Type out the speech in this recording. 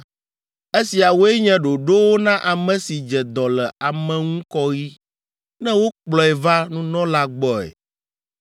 “Esiawoe nye ɖoɖowo na ame si dze dɔ le ameŋukɔɣi ne wokplɔe va nunɔla gbɔe.